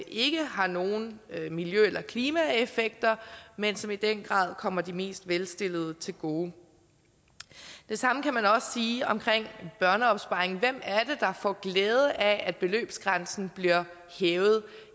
ikke har nogen miljø eller klimaeffekter men som i den grad kommer de mest velstillede til gode og det samme kan man sige om børneopsparingen hvem er der får glæde af at beløbsgrænsen bliver hævet